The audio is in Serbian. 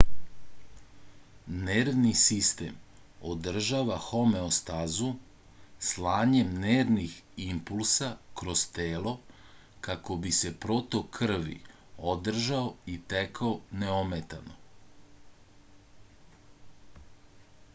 nervni sistem održava homeostazu slanjem nervnih impulsa kroz telo kako bi se protok krvi održao i tekao neometano